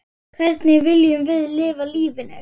Hvernig viljum við lifa lífinu?